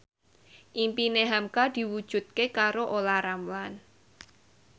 impine hamka diwujudke karo Olla Ramlan